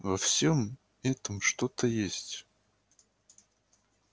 во всём этом что-то есть